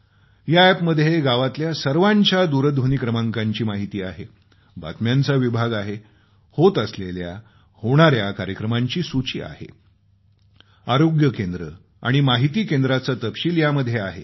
या अॅपमध्ये गावातल्या सर्वांच्या दूरध्वनी क्रमांकाची माहिती आहे बातम्यांचा विभाग आहे होत असलेल्या होणाऱ्या कार्यक्रमांची सूची आहे आरोग्य केंद्र आणि माहिती केंद्राचा तपशील यामध्ये आहे